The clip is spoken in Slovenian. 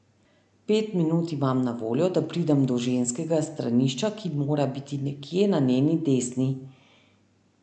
Pet minut imam na voljo, da pridem do ženskega stranišča, ki mora biti nekje na njeni desni.